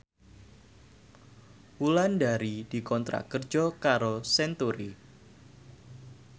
Wulandari dikontrak kerja karo Century